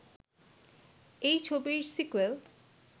এই ছবির সিকোয়েল